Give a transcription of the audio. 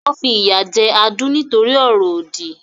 Wọ́n fi ìyà jẹ Adu nítorí ọ̀rọ̀ òdì.